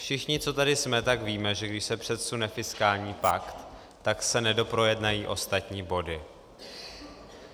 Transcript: Všichni, co tady jsme, tak víme, že když se předsune fiskální pakt, tak se nedoprojednají ostatní body.